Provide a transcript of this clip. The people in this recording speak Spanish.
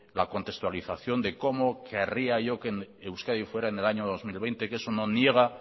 la contextualización de cómo querría yo que euskadi fuera en el año dos mil veinte que eso no niega